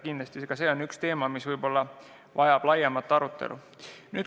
Kindlasti see on üks teema, mis võib-olla vajab laiemat arutelu.